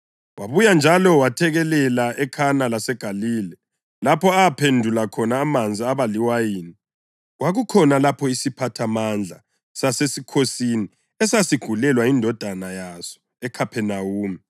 Wabuya njalo wethekelela eKhana laseGalile, lapho aphendula khona amanzi abaliwayini. Kwakukhona lapho isiphathamandla sasesikhosini esasigulelwa yindodana yaso eKhaphenawume.